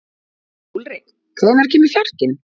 Úlrik, hvenær kemur fjarkinn?